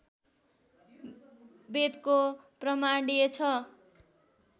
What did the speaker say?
वेदको प्रामाण्य छ